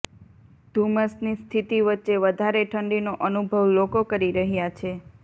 ધુમ્મસની સ્થિતી વચ્ચે વધારે ઠંડીનો અનુભવ લોકો કરી રહૃાા છે